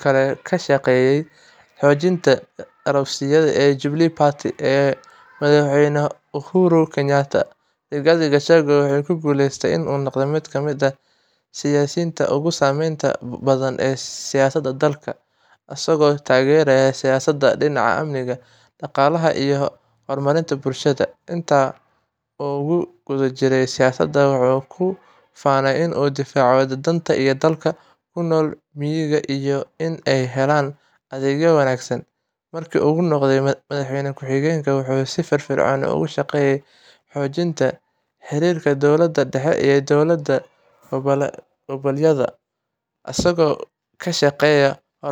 kale ka shaqeeyay xoojinta garabka siyaasadeed ee Jubilee Party ee Madaxweyne Uhuru Kenyatta. Rigathi Gachagua wuxuu ku guuleystay inuu noqdo mid ka mid ah siyaasiyiinta ugu saameynta badan ee siyaasadda dalka, isagoo taageeray siyaasadda dhinaca amniga, dhaqaalaha, iyo horumarinta bulshada. Inta uu ku guda jiray siyaasadda, wuxuu ku faanay inuu difaaco danta dadka ku nool miyiga iyo inay helaan adeegyo wanaagsan. Markii uu noqday Madaxweyne Ku Xigeenka, wuxuu si firfircoon uga shaqeeyay xoojinta xiriirka dowladda dhexe iyo dowlad-goboleedyada, isagoo ka shaqeeyay horumarinta mashaariicda muhiimka ah ee dalka.